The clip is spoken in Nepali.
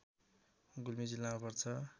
गुल्मी जिल्लामा पर्छ